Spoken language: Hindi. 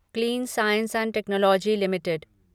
clean science and technology limited